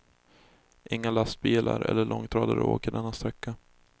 Inga lastbilar eller långtradare åker denna sträcka.